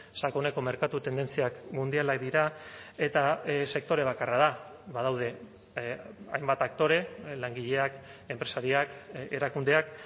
sakoneko merkatu tendentziak mundialak dira eta sektore bakarra da badaude hainbat aktore langileak enpresariak erakundeak